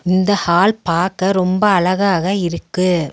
இந்த ஹால் பாக்க ரொம்ப அழகாக இருக்கு.